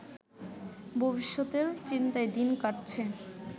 ভবিষ্যতের চিন্তায় দিন কাটছে